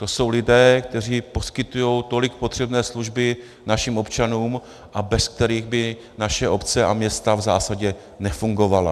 To jsou lidé, kteří poskytují tolik potřebné služby našim občanům a bez kterých by naše obce a města v zásadě nefungovaly.